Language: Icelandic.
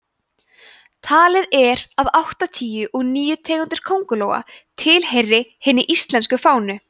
talið er að áttatíu og níu tegundir köngulóa tilheyri hinni íslensku fánu